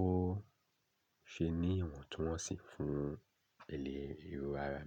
ó ṣe ní ìwọ̀ntúnwọnsì fún ilé ewu ara.